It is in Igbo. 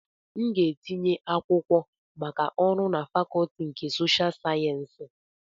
M ga-etinye akwụkwọ maka ọrụ na Fakọọti nke Sosha sayensị